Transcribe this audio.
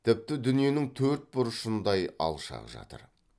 тіпті дүниенің төрт бұрышындай алшақ жатыр